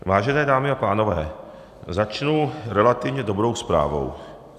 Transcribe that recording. Vážené dámy a pánové, začnu relativně dobrou zprávou.